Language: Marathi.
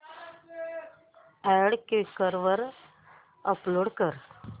अॅड क्वीकर वर अपलोड कर